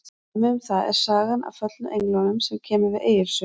Dæmi um það er sagan af föllnu englunum sem kemur við Egils sögu.